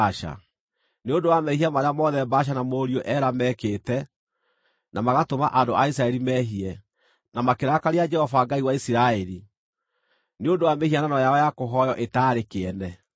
Nĩ ũndũ wa mehia marĩa mothe Baasha na mũriũ Ela meekĩte na magatũma andũ a Isiraeli mehie, na makĩrakaria Jehova Ngai wa Isiraeli, nĩ ũndũ wa mĩhianano yao ya kũhooywo ĩtaarĩ kĩene.